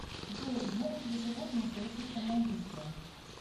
джой могут ли животные совершить самоубийство